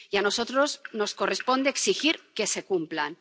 Y a nosotros nos corresponde exigir que se cumplan.